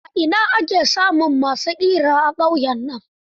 A ina ake samun ma su ƙira a ƙauyen nan?